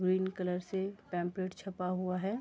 Green colour से pamphlet छपा हुआ है।